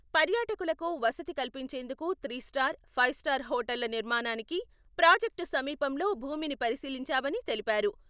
పర్యాటకులకు వసతి కల్పించేందుకు త్రీస్టార్, ఫైవ్ స్టార్ హాటళ్ళ నిర్మాణానికి ప్రాజక్టు సమీపంలో భూమిని పరిశీలించామని తెలిపారు.